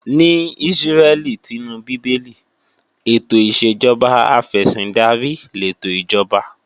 Ní Ísírẹ́lì tinú Bíbélì, ètò ìṣèjọba afẹ̀sìndarí lètò ìjọba